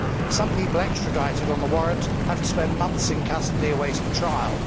Some people extradited on the warrant have to spend months in custody awaiting trial.